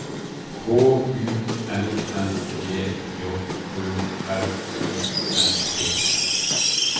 K U N N G J Ø R I N G